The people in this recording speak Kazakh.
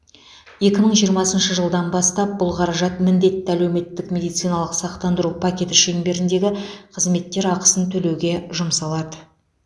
екі мың жиырмасыншы жылдан бастап бұл қаражат міндетті әлеуметтік медициналық сақтандыру пакеті шеңберіндегі қызметтер ақысын төлеуге жұмсалады